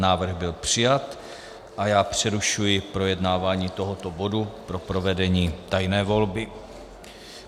Návrh byl přijat a já přerušuji projednávání tohoto bodu pro provedení tajné volby.